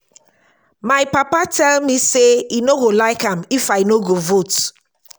my papa tell me say he no go like am if i no go vote